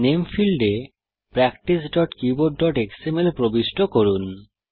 name ফীল্ডে practicekeyboardএক্সএমএল প্রবিষ্ট করুন